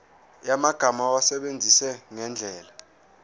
yamagama awasebenzise ngendlela